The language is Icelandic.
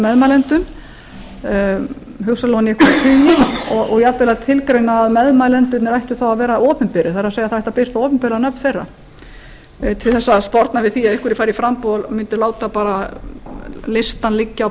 meðmælendum hugsanlega ofan í tíu og jafnvel að tilgreina að meðmælendurnir ættu þá að vera opinberir það er það ætti að birta opinber nöfn þeirra til að sporna við því að einhverjir fari í framboð mundu láta listann liggja á